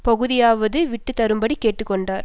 பகுதியாகவாவது விட்டு தரும்படி கேட்டு கொண்டார்